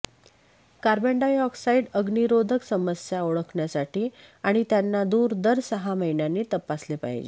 carbon dioxide अग्नीरोधक समस्या ओळखण्यासाठी आणि त्यांना दूर दर सहा महिन्यांनी तपासले पाहिजे